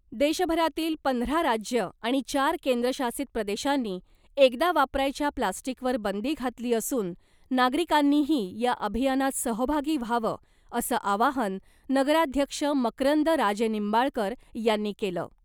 देशभरातील पंधरा राज्यं आणि चार केंद्रशासित प्रदेशांनी एकदा वापरायच्या प्लास्टिकवर बंदी घातली असून , नागरिकांनीही या अभियानात सहभागी व्हावं असं आवाहन नगराध्यक्ष मकरंद राजेनिंबाळकर यांनी केलं .